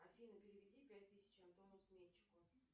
афина переведи пять тысяч антону сметчику